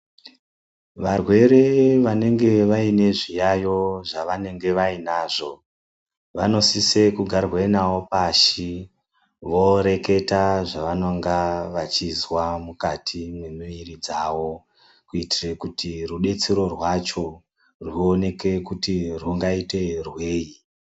Varwere vanenge vaine zviyaeyo zvavanenge vainazvo vanosise kugarwa navo pashi voreketa zvavanonga vachizwa mukati memwiri dzavo kuitire kuti rudetsero rwacho rwuoneke kuti rwungaite rwei.